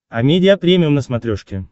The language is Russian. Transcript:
амедиа премиум на смотрешке